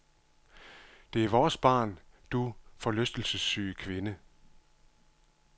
Det er vores barn, du forlystelsessyge kvinde.